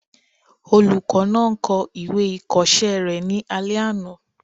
Olùkọ́ náà ń kọ ìwé ìkọsẹ́ rẹ̀ ní alẹ́ àná